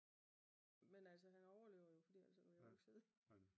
Men altså han overlevede jo for ellers vil jeg ikke